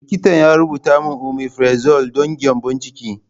Likitana ya rubuta omefrazole don gyambon ciki.